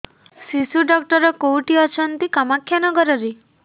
ଶିଶୁ ଡକ୍ଟର କୋଉଠି ଅଛନ୍ତି କାମାକ୍ଷାନଗରରେ